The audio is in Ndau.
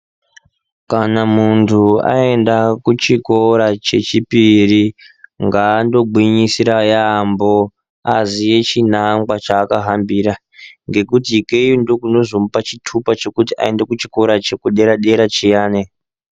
Kana munhu aenda kuchikora chechipiri ngaandogwinyisira yaamho aziye china ngwa chaakahambira. Ngekuti ikeyo ndokunozomupa chitupa chekuti aende kuchikora chederadera chiyani.